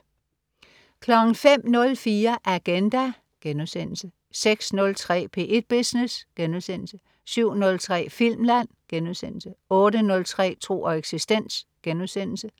05.04 Agenda* 06.03 P1 Business* 07.03 Filmland* 08.03 Tro og eksistens*